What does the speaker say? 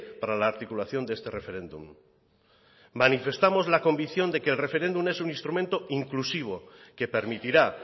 para la articulación de este referéndum manifestamos la convicción de que el referéndum es un instrumento inclusivo que permitirá